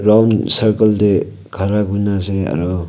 bound circle teh khara kuri na ase aro--